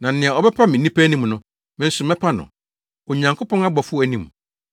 Na nea ɔbɛpa me nnipa anim no, me nso mɛpa no, Onyankopɔn abɔfo anim.